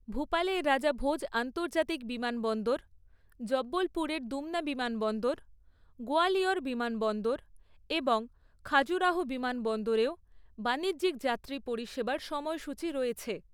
ভূপালের রাজা ভোজ আন্তর্জাতিক বিমানবন্দর, জব্বলপুরের দুমনা বিমানবন্দর, গোয়ালিয়র বিমানবন্দর এবং খাজুরাহো বিমানবন্দরেও বাণিজ্যিক যাত্রী পরিষেবার সময়সূচি রয়েছে।